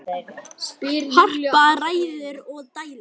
Harpa ræður og dælir.